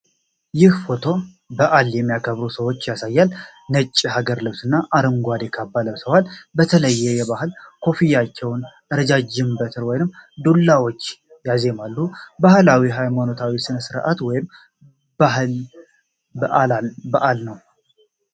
ይህ ፎቶ በዓል የሚያከብሩ ሰዎችን ያሳያል:: ነጭ የሀገር ልብስና አረንጓዴ ካባ ለብሰዋል:: በተለያዩ ባህላዊ ኮፍያዎችና ረዣዥም በትር ወይም ዱላዎች ያዜማሉ:: ባህላዊ ሃይማኖታዊ ሥነ-ሥርዓት ወይም የባህል በዓል ነው::